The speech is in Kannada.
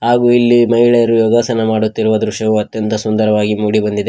ಹಾಗೂ ಇಲ್ಲಿ ಮಹಿಳೆಯರು ಯೋಗಸನ ಮಾಡುತ್ತಿರುವ ದೃಶ್ಯವೂ ಅತ್ಯಂತ ಸುಂದರವಾಗಿ ಮೂಡಿ ಬಂದಿದೆ.